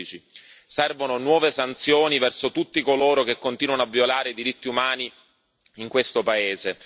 2015. Servono nuove sanzioni verso tutti coloro che continuano a violare i diritti umani in questo paese